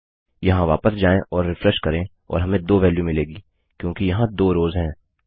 यहाँ वापस जाएँ और रिफ्रेश करें और हमें 2 वेल्यू मिलेगी क्योंकि यहाँ 2 रोव्स हैं